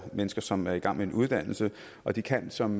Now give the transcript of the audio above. mennesker som er i gang med en uddannelse og de kan som